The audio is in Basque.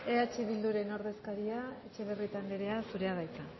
eh bilduren ordezkaria etxebarrieta andrea zurea da hitza